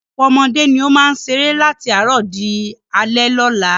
Ọ̀pọ̀lọpọ̀ ọmọdé ni ó máa ń ṣeré láti àárọ̀ di alẹ́ lọ́la.